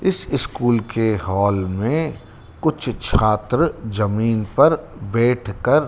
इस स्कूल के हॉल मे कुछ छात्र जमीन पर बैठकर--